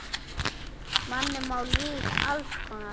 Manni má líða alls konar.